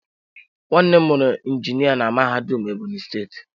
Nwannem muru injinia na mahadum Ebonyi steeti.